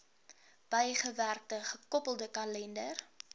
bygewerkte gekoppelde kalender